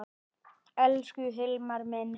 Elsku Hilmar minn.